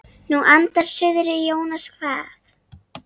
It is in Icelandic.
Nú andar suðrið Jónas kvað.